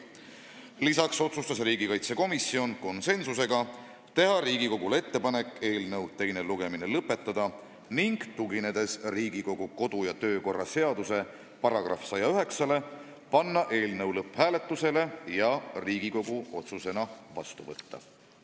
Lisaks otsustas riigikaitsekomisjon konsensusega teha Riigikogule ettepaneku eelnõu teine lugemine lõpetada ning tuginedes Riigikogu kodu- ja töökorra seaduse §-le 109, panna eelnõu lõpphääletusele ja Riigikogu otsusena vastu võtta.